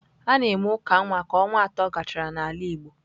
A na-eme uka nwa ka ọnwa atọ gachara n'ala igbo.